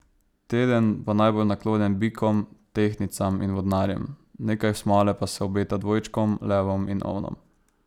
Teden bo najbolj naklonjen bikom, tehtnicam in vodnarjem, nekaj smole pa se obeta dvojčkom, levom in ovnom.